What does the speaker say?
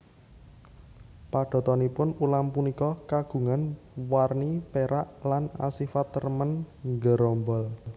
Padatanipun ulam punika kagungan warni pérak lan asifat remen nggerombol